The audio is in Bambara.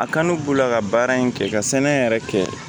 A kanu b'u la ka baara in kɛ ka sɛnɛ yɛrɛ kɛ